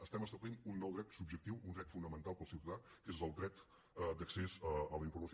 estem establint un nou dret subjectiu un dret fonamental per al ciutadà que és el dret d’accés a la informació